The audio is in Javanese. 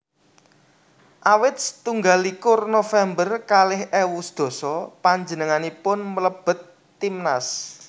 Awit setunggal likur November kalih ewu sedasa panjenenganipun mlebet timnas